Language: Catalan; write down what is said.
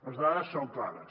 les dades són clares